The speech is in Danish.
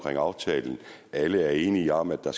aftalen alle er enige om at der